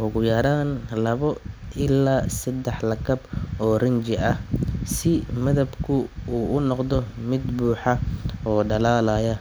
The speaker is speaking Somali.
ugu yaraan laba ilaa saddex lakab oo rinji ah si midabku u noqdo mid buuxa oo dhalaalaya.